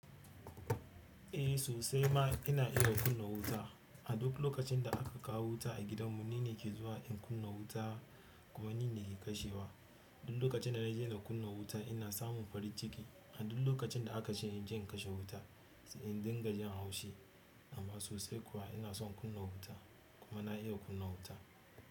Eh sosai ma ina iya kunna wuta. A duk lokacin da aka kawo wuta a gidanmu nine ke zuwa in kunna wuta kuma nine ke kashewa. Duk lokacin da na je na kunna wuta ina samu farin ciki a duk lokacin da aka ce in je in kashe wuta in dinga jin haushi. Amma sosai kuwa ina son in kunna wuta kuma na iya kunna wuta.